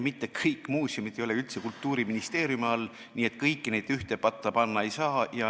Mitte kõik muuseumid ei ole üldse Kultuuriministeeriumi all, nii et kõiki neid ühte patta panna ei saa.